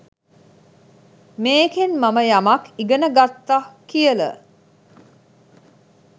මේකෙන් මම යමක් ඉගෙන ගත්තා කියල